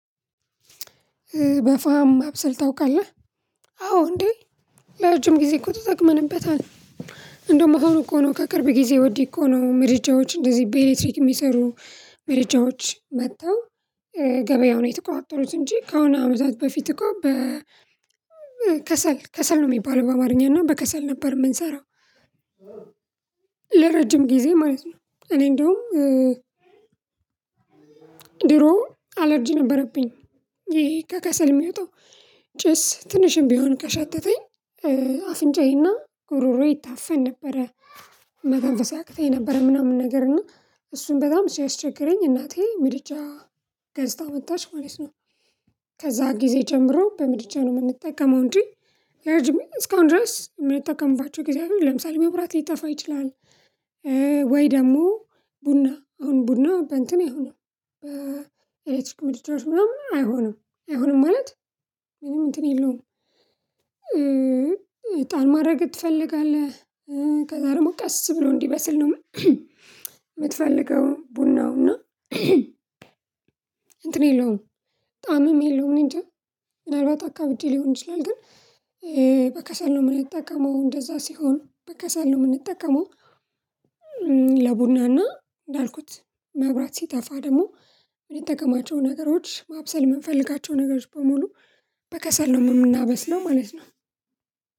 በፋም ማብሰል ታውቃለህ አዎ እንዴ ለረጅም ጊዜ እኮ ተጠቅመንበታል። እንዶም አሁን እኮ ነው ከቅርብ ጊዜ ወዲህ እኮ ነው ምድጃዎች እንደዚህ በኤሌክትሪክ የሚሰሩ። ምድጃዎች መጥተው ገበያውን የተቋጠሩት እንጂ ከሆነ አመታት በፊት እኮ በ ከሰል ነው የሚባለው በአማርኛ እና በከሰል ነበር የምንሰራው። ለረጅም ጊዜ ማለት ነው። እኔ እንደውም ድሮም አላርጅ ነበረብኝ። ይሄ ከከሰል የሚወጣው ጭስ ትንሽም ቢሆን ከሻተተኝ አፍንጫዬና ጉሮሮዬ ይታፈን ነበረ። መተንፈስ ያቅተኝ ነበረ። ምናምን ነገር እና እሱን በጣም ሲያስቸግረኝ እናቴ ምድጃ ገዝታ መጣች ማለት ነው። ከዛ ጊዜ ጀምሮ በምድጃ ነው የምንጠቀመው። እንጂ ለረጅም እስካሁን ድረስ የምንጠቀምባቸው ጊዜ አሉ ለምሳሌ መብራት ሊጠፋ ይችላል። ወይ ደግሞ ቡና አሁን ቡና በእንትን አይሆንም። በኤሌክትሪክ ምድጃዎች ምናምን አይሆንም። ማለት ምንም እንትን የለውም። እጣን ማድረግ ትፈልጋለህ? ከዛ ደግሞ ቀስ ብሎ እንዲበስል ነው የምትፈልገው ቡናው እና እንትን የለውም። ጣምም የለውም እኔ እንጃ ምናልባት አካብጄ ሊሆን ይችላል። ግን በከሰል ነው የምንጠቀመው እንደዛ ሲሆን በከሰል ነው የምንጠቀመው። ለቡና እንዳልኩት መብራት ሲጠፋ ደግሞ የምንጠቀማቸው ነገሮች ማብሰል የምንፈልጋቸው ነገሮች በሙሉ በከሰል ነው የምናበስለው ማለት ነው።